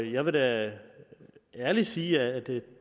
jeg vil da ærligt sige at det